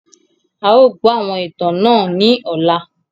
À ó gbọ́ àwọn ìtàn náà ni ọ̀la.